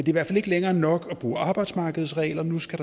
i hvert fald ikke længere nok at bruge arbejdsmarkedets regler nu skal